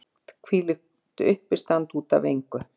Hvílíkt uppistand út af engu!